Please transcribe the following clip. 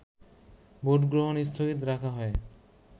ভোটগ্রহণ স্থগিত রাখা হয়